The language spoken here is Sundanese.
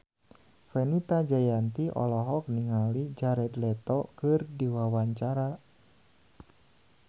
Fenita Jayanti olohok ningali Jared Leto keur diwawancara